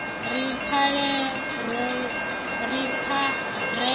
ri pfarelo u ḓo i